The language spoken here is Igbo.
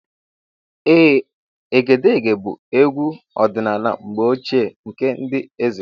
Ee, Egedege bụ egwu ọdịnala mgbe ochie nke ndị eze.